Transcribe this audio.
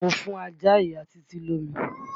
Mo fún ajá ìya Títí lómi.